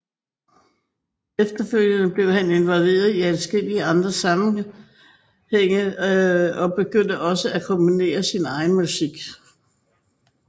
Efterfølgende blev han involveret i adskillige andre sammengænge og begyndte også at komponere sin egen musik